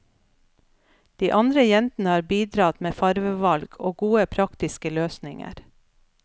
De andre jentene har bidratt med fargevalg og gode praktiske løsninger.